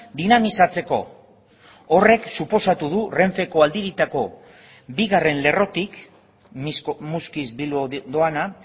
dinamizatzeko horrek suposatu du renfeko aldiritako bigarren lerrotik muskiz bilbo doana